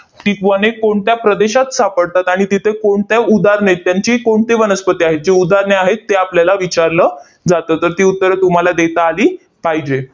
ती वने कोणत्या प्रदेशात सापडतात आणि तिथे कोणत्या उदाहरणेत त्यांची कोणती वनस्पती आहेत, जी उदाहरणे आहेत ते आपल्याला विचारलं जातं. तर ती उत्तरं तुम्हाला देता आली पाहिजे.